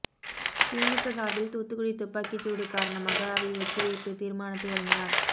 திமுக சார்பில் தூத்துக்குடி துப்பாக்கிச்சூடு காரணமாக அவை ஒத்திவைப்பு தீர்மானத்தை வழங்கினார்